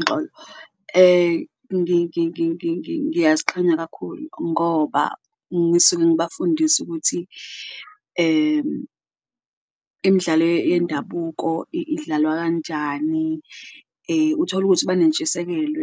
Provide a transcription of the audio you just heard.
Uxolo, ngiyaziqhenya kakhulu ngoba ngisuke ngibafundisa ukuthi imidlalo yendabuko idlalwa kanjani, uthole ukuthi banentshisekelo